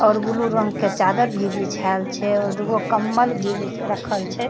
और ब्लू रंग के चादर भी बिछाइल छै और दुगो कम्बल भी बि रखल छै।